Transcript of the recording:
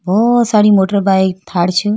बहुत सारी motorbike Thar छ--